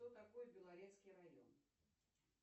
кто такой белорецкий район